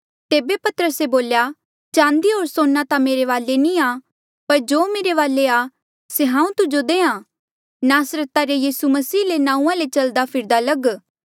तेबे पतरसे बोल्या चांदी होर सोना ता मेरे वाले नी आ पर जो मेरे वाले आ से हांऊँ तुजो देहां आ नासरता रे यीसू मसीहा रे नांऊँआं ले चलदा फिरदा लग